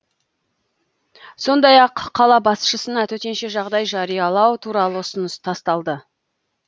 сондай ақ қала басшысына төтенше жағдай жариялау туралы ұсыныс тасталды